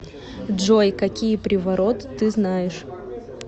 джой какие приворот ты знаешь